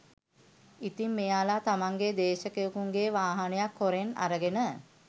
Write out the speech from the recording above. ඉතින් මෙයාල තමන්ගේ දේශකයෙකුගේ වාහනයක් හොරෙන් අරගෙන